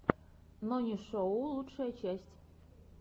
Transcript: нонишоу лучшая часть